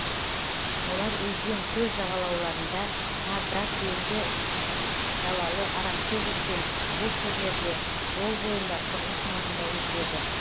олар өзен көл жағалауларында тарда көлді далалы арамшөп өскен бос жерлерде жол бойында құрылыс маңында өседі